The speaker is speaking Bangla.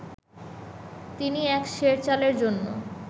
তিনি এক সের চালের জন্য